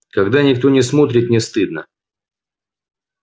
когда никто не смотрит не стыдно